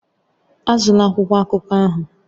Azụla akwụkwọ akụkọ ahụ!